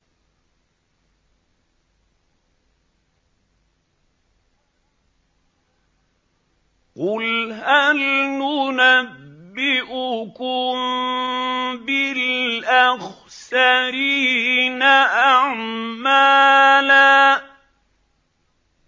قُلْ هَلْ نُنَبِّئُكُم بِالْأَخْسَرِينَ أَعْمَالًا